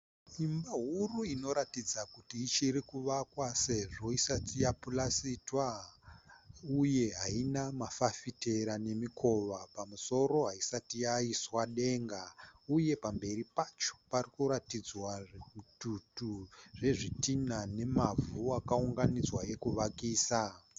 Imba huru inoratidza kuti ichirikuvakwa sezvo isati yapurasitwa uye haina mafafitera nemikova. Pamusoro haisati yaiswa denga uye pamberi pacho parikuratidzwa zvitutu zvezvidhinha nemavhu akaunganidzwa ekuvakisa.